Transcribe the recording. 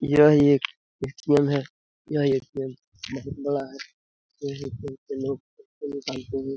यह एक ए.टी.एम. है यह ए.टी.एम. बहुत बड़ा है यहाँ ए.टी.एम. से लोग पैसे निकालते है।